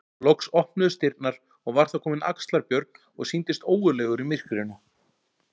Loks opnuðust dyrnar og var þar kominn Axlar-Björn og sýndist ógurlegur í myrkrinu.